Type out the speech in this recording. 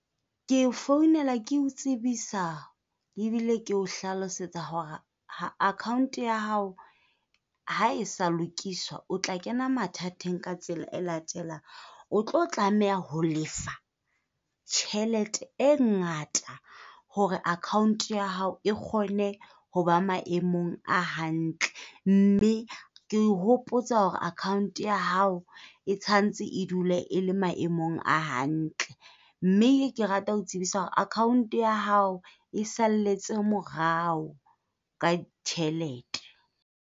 Ke o founelwa ke o tsebisa ebile keo hlalosetsa hore account ya hao ha e sa lokiswa, o tla kena mathateng ka tsela e latelang. O tlo tlameha ho lefa tjhelete e ngata hore account ya hao e kgone ho ba maemong a hantle. Mme ke o hopotsa hore account ya hao e tshwantse e dule e le maemong a hantle. Mme ke rata ho o tsebisa hore account ya hao e salletse morao ka tjhelete.